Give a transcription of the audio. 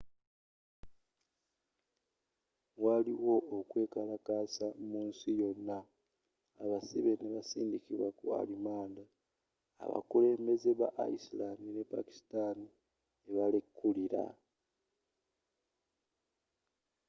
waliwo okwekalakaasa mu nsi yona abasibe nebasindikibwa ku arimanda era abakulembeze ba iceland ne pakisitani ne balekulira